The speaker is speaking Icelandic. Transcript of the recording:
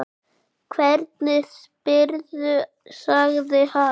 Hvernig spyrðu, sagði hann.